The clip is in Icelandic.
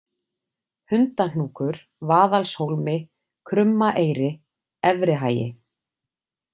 Hundahnúkur, Vaðalshólmi, Krummaeyri, Efri-Hagi